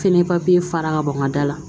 Fɛnɛ papiye fara ka bɔ n ka da la